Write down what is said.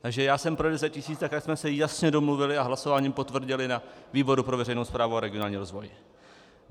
Takže já jsem pro 10 tisíc, tak jak jsme se jasně domluvili a hlasováním potvrdili na výboru pro veřejnou správu a regionální rozvoj.